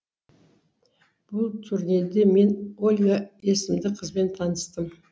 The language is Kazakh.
бұл турнелде мен ольга есімді қызбен таныстым